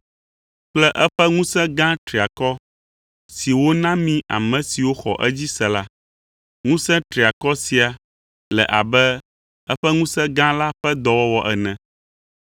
kple eƒe ŋusẽ gã triakɔ si wona mí ame siwo xɔ edzi se la. Ŋusẽ triakɔ sia le abe eƒe ŋusẽ gã la ƒe dɔwɔwɔ ene.